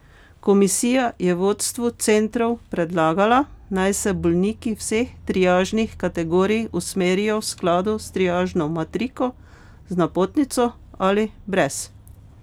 Komisija je vodstvu centrov predlagala, naj se bolniki vseh triažnih kategorij usmerijo v skladu s triažno matriko, z napotnico ali brez.